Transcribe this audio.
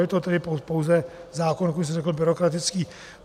Je to tedy pouze zákon, jak už jsem řekl, byrokratický.